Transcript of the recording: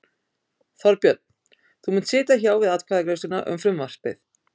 Þorbjörn: Þú munt sitja hjá við atkvæðagreiðsluna um frumvarpið?